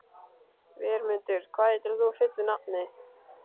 Vermundur, hvað heitir þú fullu nafni?